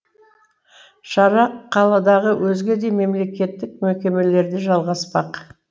шара қаладағы өзге де мемлекеттік мекемелерде жалғаспақ